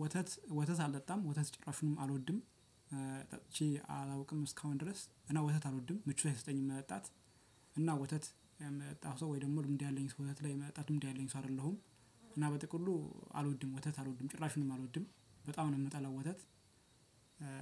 ወተት ወተት አልጠጣም ወተት ጭራሹንም አልወድም ጠጥቼ አላውቅም እስካሁን ድረስ እና ወተት አልወድም ምቾት አይሰጠኝም መጣት። እና ወተት የምጠጣ ሰው ወይ ደግሞ ልምድ ያለኝ ሰው ወተት ላይ የመጠጣት ልምድ ያለኝ ሰው አይደለሁም። እና በጥቅሉ አልወድም ወተት አልወድም ጭራሹንም አልወድም በጣም ነው የምጠላው ወተት።